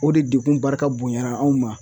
O de degun barika bonyana anw ma